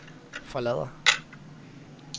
forlader